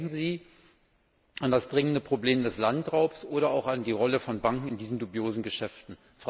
Denken Sie an das dringende Problem des Landraubs oder auch an die Rolle von Banken in diesen dubiosen Geschäften.